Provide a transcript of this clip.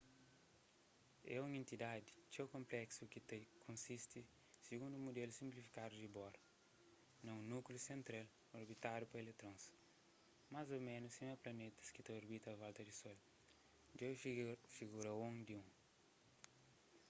é un entidadi txeu konpléksu ki ta konsisti sigundu un mudelu sinplifikadu di bohr na un núkliu sentral orbitadu pa eletrons más ô ménus sima planetas ki ta orbita a volta di sol djobe figura 1.1